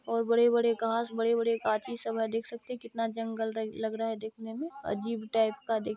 --और बड़े- बड़े घास बड़े- बड़े काची सब देख सकते है कितना जंगल टाइप का देखिए।